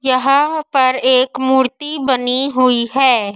यहां पर एक मूर्ति बनी हुई है।